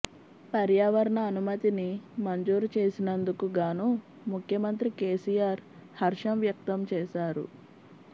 పర్యావరణ అనుమతిని మంజూరు చేసినందుకు గాను ముఖ్యమంత్రి కెసిఆర్ హర్షం వ్యక్తం చేశారు